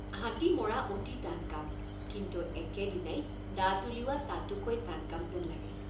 হাতী মৰা অতি টান কাম কিন্তু একেদিনাই দাঁত উলিওৱা তাতোকৈ টান কাম যেন লাগে।